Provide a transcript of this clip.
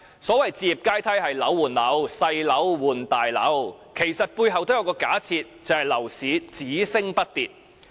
所謂"置業階梯"是樓換樓、細樓換大樓，其實背後都有一個假設，就是樓市只升不跌。